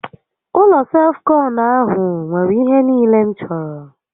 Ụlọ self kọnụ ahụ nwèrè ihe niile m chọrọ